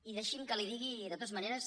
i deixi’m que li digui de totes maneres